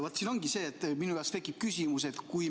Vaat siin tekibki minu jaoks küsimus.